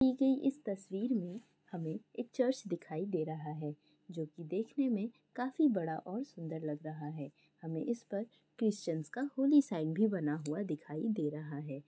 दी गई इस तस्वीर में हमें एक चर्च दिखाई दे रहा है जो कि देखने में काफ़ी बड़ा और सुंदर लग रहा है हमें इस पर क्रिश्चंस का होली साइन भी बना हुआ दिखाई दे रहा है।